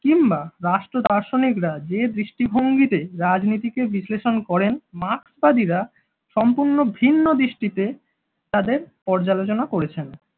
কিংবা রাষ্ট্র দার্শনিকরা যে দৃষ্টিভঙ্গিতে রাজনীতিকে বিশ্লেষণ করেন মার্কসবাদীরা সম্পূর্ণ ভিন্ন দৃষ্টিতে তাদের পর্যালোচনা করেছেন।